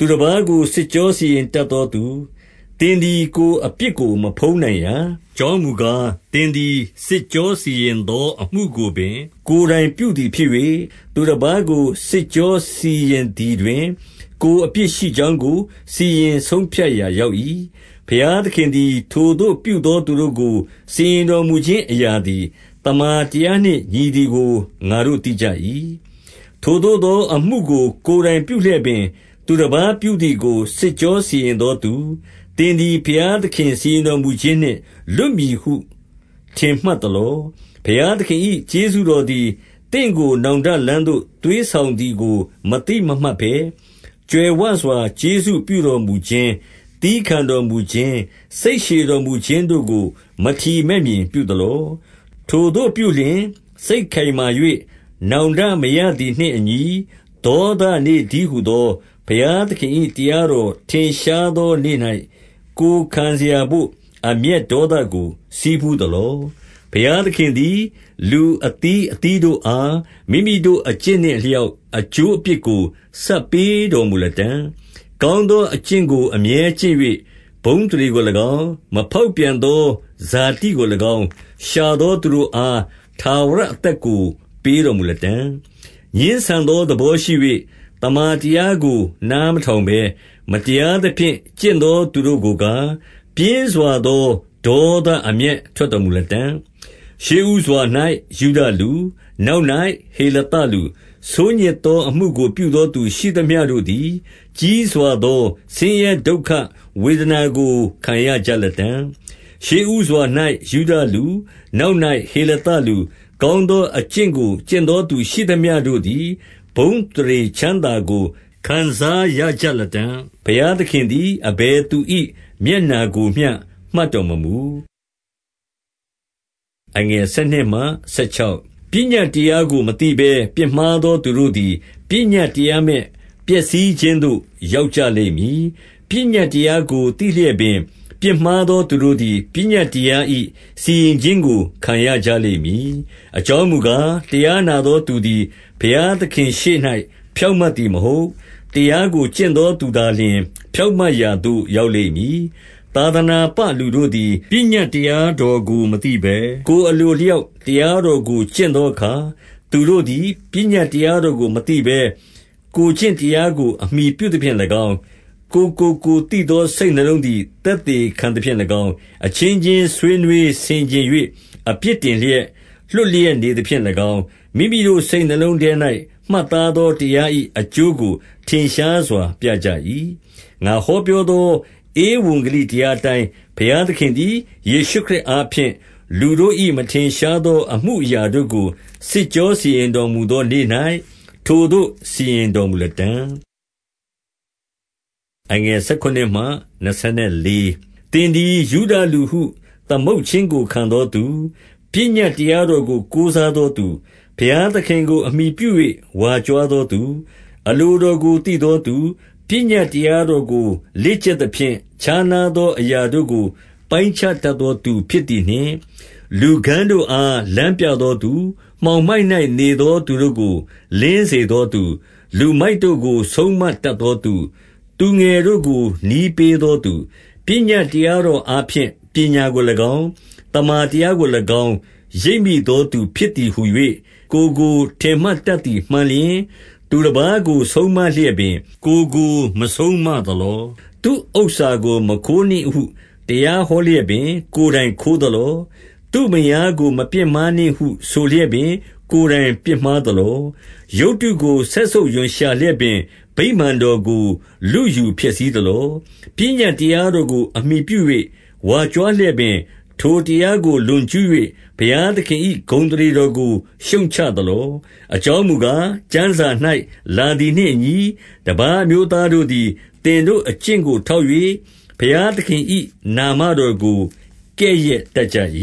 သူတပါးကို စစ်ကြောစီရင်တတ်သောသူ၊ သင်သည်ကိုယ်အပြစ်ကို မဖုံးနိုင်ရာ။ အကြောင်းမူကား၊ သင်သည်စစ်ကြောစီရင်သော အမှုကိုပင် ကိုယ်တိုင်ပြုသည်ဖြစ်၍၊ သူတပါးကို စစ်ကြောစီရင်သည်တွင် ကိုယ်အပြစ်ရှိကြောင်းကို စီရင်ဆုံးဖြတ်ရာရောက်၏။ ဘုရားသခင်သည် ထိုသို့ပြုသောသူတို့ကို စီရင်တော်မူခြင်း အရာသည် သမ္မာတရားနှင့် ညီသည်ကို ငါတို့သိကြ၏။ ထိုသို့သောအမှုကိုကိုယ်တိုင်ပြုလျက်ပင်၊ သူတပါးပြုသည်ကို စစ်ကြောစီရင်သောသူ၊ သင်သည် ဘုရားသခင်စီရင်တော်မူခြင်းနှင့် လွတ်မည်ဟု ထင်မှတ် သလော။ ဘုရားသခင်၏ ကျေးဇူးတော်သည် သင့်ကို နောင်တလမ်းသို့ သွေးဆောင်သည်ကို မသိမမှတ်ဘဲ၊ ကြွယ်ဝစွာ ကျေးဇူးပြုတော်မူခြင်း၊ သည်းခံတော်မူခြင်း၊ စိတ်ရှည်တော်မူခြင်းတို့ကို မထီမဲ့မြင်ပြုသလော။ ထိုသို့ပြုလျှင် စိတ်ခိုင်မာ၍ နောင်တမရသည်နှင့်အညီ ဒေါသနေ့တည်းဟူသော ဘုရားသခင်၏ တရားတော်ထင်ရှားသောနေ့၌ ကိုယ်ခံစရာဘို့ အမျက်ဒေါသကို ဆည်းပူးသလော။ ဘုရားသခင်သည် လူအသီးသီးတို့အား မိမိတို့ အကျင့်နှင့် အလျောက်အကျိုးအပြစ်ကို ဆပ်ပေးတော် မူလတံ့၊ ကောင်းသောအကျင့်ကို အမြဲကျင့်၍၊ ဘုန်း အသရေကို၎င်း၊ မဖေါက်ပြန်သောဇာတိကို၎င်း၊ ရှာသော သူတို့အား ထာဝရအသက်ကို ပေးတော်မူလတံ့၊ ငြင်းဆန်သောသဘောရှိ၍၊ သမ္မာတရားကို နားမထောင်ဘဲ မတရားသဖြင့် ကျင့်သောသူတို့ကိုကား၊ ပြင်းစွာသော ဒေါသအမျက်ထွက်တော်မူလတံ့၊ ရှေးဦးစွာ၌ ယုဒလူ၊ နောက်၌ဟေလသလူ၊ ဆိုးညစ်သောအမှုကို ပြုသောသူရှိသမျှတို့သည် ကြီးစွာ သော ဆင်းရဲဒုက္ခဝေဒနာကို ခံရကြလတံ့၊ ရှေးဦးစွာ၌ယုဒလူ၊ နောက်၌ဟေလသလူ၊ ကောင်းသော အကျင့်ကိုကျင့်သောသူရှိသမျှတို့သည် ဘုန်းအသရေချမ်းသာကို ခံစားရကြလတံ့။ ဘုရားသခင်သည် အဘယ်သူ၏မျက်နှာကို မျှမှတ်တော်မမူ။ ပညတ်တရားကို မသိဘဲပြစ်မှားသော သူတို့သည် ပညတ်တရားမဲ့ပျက်စီးခြင်းသို့ရောက်ကြလိမ့်မည်။ ပညတ်တရားကို သိလျက်ပင်ပြစ်မှားသော သူတို့သည် ပညတ်တရား၏စီရင်ခြင်းကို ခံရကြလိမ့်မည်။ အကြောင်းမူကား၊ တရားနာသောသူသည် ဘုရားသခင်ရှေ့၌ ဖြောင့်မတ်သည်မဟုတ်။ တရားကို ကျင့်သောသူသာလျှင် ဖြောင့်မတ်ရာသို့ ရောက်လိမ့်မည်။ သာသနာပလူတို့သည် ပညတ်တရားတော်ကို မသိဘဲ၊ ကိုယ်အလိုအလျောက်တရားတော်ကို ကျင့်သောအခါ၊ သူတို့သည် ပညတ်တရားတော်ကို မသိဘဲ၊ ကိုယ်ကျင့်တရားကို အမှီပြုသဖြင့်၎င်း၊ ကိုယ်ကို ကိုယ်သိသောစိတ်နှလုံးသည် သက်သေခံသဖြင့်၎င်း၊ အချင်းချင်းဆွေးနွေးဆင်ခြင်၍ အပြစ်တင်လျက်၊ လွှတ်လျက်နေသဖြင့်၎င်း၊ မိမိတို့စိတ်နှလုံးထဲ၌ မှတ်သားသော တရား၏အကျိုးကို ထင်ရှားစွာ ပြကြ၏။ ငါဟောပြောသော ဧဝံဂေလိတရားအတိုင်း၊ ဘုရားသခင်သည် ယေရှုခရစ်အားဖြင့် လူတို့၏ မထင်ရှား သော အမှုအရာတို့ကို စစ်ကြော စီရင်တော်မူသောနေ့၌ ထိုသို့စီရင်တော်မူလတံ့။ သင်သည် ယုဒလူဟု သမုတ်ခြင်းကို ခံသောသူ၊ ပညတ်တရားတော်ကို ကိုးစားသောသူ၊ ဘုရားသခင်ကို အမှီပြု၍ ဝါကြွားသောသူ၊ အလိုတော်ကိုသိသောသူ၊ ပညတ်တရားတော်ကို လေ့ကျက်သဖြင့် ခြားနားသောအရာတို့ကို ပိုင်းခြားထား တတ်သောသူဖြစ်သည်နှင့်၊ လူကန်းတို့အား လမ်းပြသောသူ၊ မှောင်မိုက်၌ နေသောသူတို့ကို လင်းစေသောသူ၊ လူမိုက်တို့ကို ဆုံးမတတ်သောသူ၊ သူငယ်တို့ကို နည်းပေးသောသူ၊ ပညတ်တရားတော်အားဖြင့် ပညာကို ၎င်း၊ သမ္မာတရားကို၎င်းရိပ်မိသောသူဖြစ်သည်ဟူ၍၊ ကိုယ်ကိုထင်မှတ်တတ်သည်မှန်လျှင်၊ သူတပါးကိုဆုံးမလျက်ပင်ကိုယ်ကို မဆုံးမသလော။ သူ့ဥစ္စာကို မခိုးနှင့်ဟုတရားဟောလျက်ပင် ကိုယ်တိုင်ခိုးသလော။ သူ့မယားကို မပြစ်မှားနှင့်ဟုဆိုလျက်ပင် ကိုယ်တိုင်ပြစ်မှားသလော။ ရုပ်တုကိုစက်ဆုပ်ရွံ့ရှာလျက် ပင် ဗိမာန်တော်ကို လုယူဖျက်ဆီးသလော။ ပညတ်တရားတော်ကိုအမှီပြု၍ ဝါကြွားလျက်ပင် ထိုတရားကို လွန်ကျူး၍ ဘုရားသခင်၏ ဂုဏ် အသရေတော်ကို ရှုတ်ချသလော။ အကြောင်းမူကား၊ ကျမ်းစာ၌ လာသည်နှင့်အညီ၊ တပါးအမျိုးသားတို့သည် သင်တို့အကျင့်ကို ထောက်၍ ဘုရားသခင်၏နာမတော်ကို ကဲ့ရဲ့တတ်ကြ၏